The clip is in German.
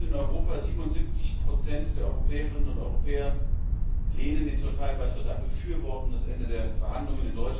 Die Menschen in Europa 77 der Europäerinnen und Europäer lehnen den Türkei Beitritt ab und befürworten das Ende der Verhandlungen.